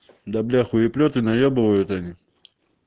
да бля хуеплеты наебывают они